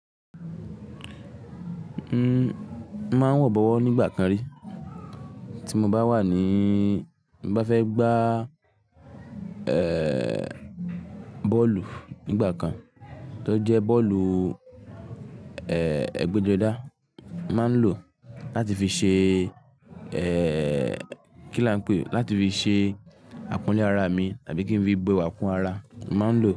N máa ń wọ̀ bọ̀wọ́ nígbà kan rí, tí mo bá wà ní, bá fẹ́ gbá, ẹ, bọ́ọ̀lù nígbà kan, tó jẹ́ bọ́ọ̀lù, ẹ, ẹgbẹ́jọdá, máa ń lò ó láti fi ṣe, ẹ, kí ni wọ́n ń pè é, láti fi ṣe àpọ́nlé ara mi tàbí kí n fi bo ẹ̀wà kún ara, máa ń lò ó.